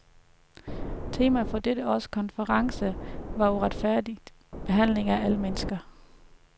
Temaet for dette års konference var retfærdig behandling af alle mennesker.